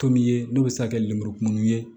Tomin ye n'o bɛ se ka kɛ lenburukumuniw ye